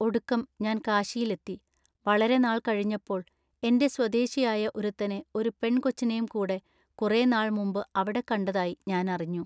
ഒടുക്കം ഞാൻ കാശിയിലെത്തി. വളരെ നാൾ കഴിഞ്ഞപ്പോൾ എന്റെ സ്വദേശിയായ ഒരുത്തനെ ഒരു പെൺ കൊച്ചിനേം കൂടെ കുറെ നാൾ മുമ്പു അവിടെക്കണ്ടതായി ഞാൻ അറിഞ്ഞു.